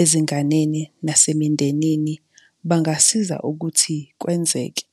ezinganeni nase mindenini, bangasiza ukuthi kwenzeke.